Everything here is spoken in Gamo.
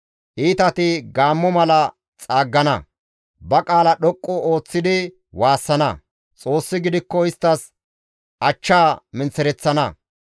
Iitati gaammo mala xaaggana; ba qaala dhoqqu ooththidi waassana; Xoossi gidikko isttas achchaa menththereththana.